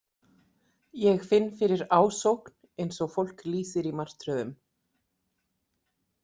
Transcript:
Ég finn fyrir ásókn, eins og fólk lýsir í martröðum.